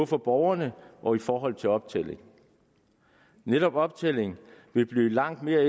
for borgerne og i forhold til optælling netop optælling vil blive langt mere